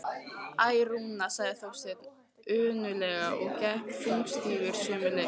Æ, Rúna sagði Þorsteinn önuglega og gekk þungstígur sömu leið.